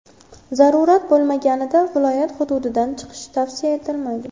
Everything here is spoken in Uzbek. Zarurat bo‘lmaganda viloyat hududidan chiqish tavsiya etilmaydi.